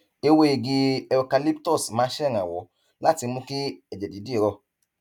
ewé igi eucalyptus máa ń ṣèrànwọ láti mú kí ẹjẹ dídì rọ